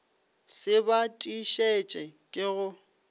se ba tiišetše ke go